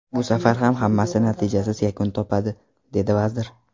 Bu safar ham hammasi natijasiz yakun topadi”, dedi vazir.